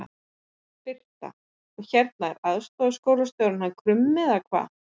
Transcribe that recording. Birta: Og hérna er aðstoðarskólastjórinn hann Krummi eða hvað?